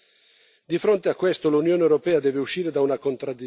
Di fronte a questo, l'Unione europea deve uscire da una contraddizione.